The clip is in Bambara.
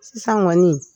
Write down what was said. Sisan kɔni